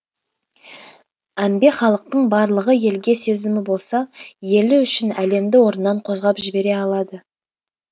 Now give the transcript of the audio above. әмбе халықтың барлығы елге сезімі болса елі үшін әлемді орнынан қозғап жібере алады